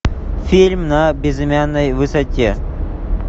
фильм на безымянной высоте